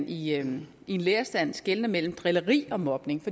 i en lærerstand skelner mellem drilleri og mobning